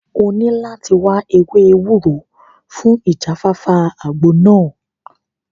O ní láti wáá ewé ewúro fún ìjáfáfá àgbo náà